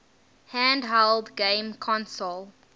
handheld game console